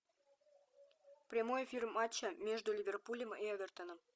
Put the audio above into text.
прямой эфир матча между ливерпулем и эвертоном